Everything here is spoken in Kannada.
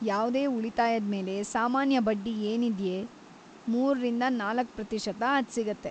ಯಾವ್ದೇ ಉಳಿತಾಯದ್ಮೇಲೆ ಸಾಮಾನ್ಯ ಬಡ್ಡಿ ಏನಿದ್ಯೆ ಮೂರರಿಂದ ನಾಲ್ಕು ಪ್ರತಿಶತ ಅದ್‌ ಸಿಗತ್ತೆ.